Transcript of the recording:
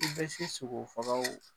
I bɛ se sogo faga